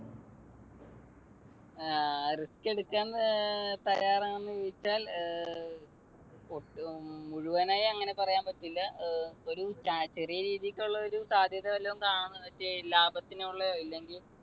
ങ്ഹാ risk എടുക്കാൻ തയ്യാറാണോ എന്ന് ചോദിച്ചാൽ ഏർ ഒട്ടും മുഴുവനായി അങ്ങനെ പറയാൻ പറ്റില്ല. ഏർ ഒരു ചെറിയ രീതിക്കുള്ള ഒരു സാധ്യത വല്ലതും കാണുന്നു ~ ലാഭത്തിനുള്ള ഇല്ലെങ്കിൽ